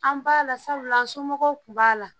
An b'a la sabula, an somɔgɔw tun b'a la.